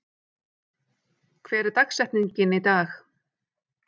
, hver er dagsetningin í dag?